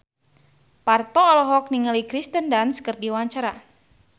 Parto olohok ningali Kirsten Dunst keur diwawancara